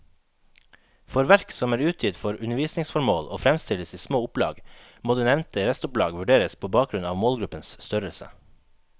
For verk som er utgitt for undervisningsformål og fremstilles i små opplag, må det nevnte restopplag vurderes på bakgrunn av målgruppens størrelse.